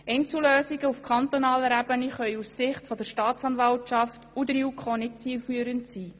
Einzellösungen auf kantonaler Ebene können aus Sicht der Staatsanwaltschaft und der JuKo nicht zielführend sein.